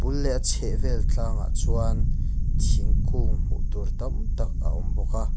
a bul leh a chhehvel tlangah chuan thingkung hmuh tur tam tak a awm bawk a.